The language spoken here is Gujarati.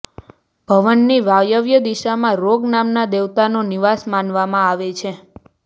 ભવનની વાયવ્ય દિશામાં રોગ નામના દેવતાનો નિવાસ માનવામાં આવે છે